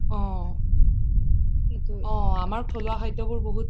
অ আমাৰ থলুৱা খাদ্য বোৰ বহুত